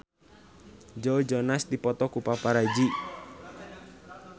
Joe Jonas dipoto ku paparazi